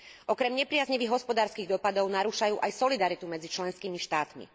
Okrem nepriaznivých hospodárskych dopadov narúšajú aj solidaritu medzi členskými štátmi.